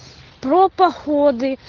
про походы